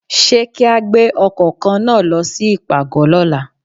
Ṣé kí á gbé ọkọ̀ kan náà lọ sí ìpàgọ́ lọ́la?